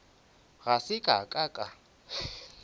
ga se ka ka ka